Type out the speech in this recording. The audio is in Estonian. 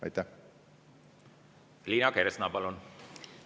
Liina Kersna, palun!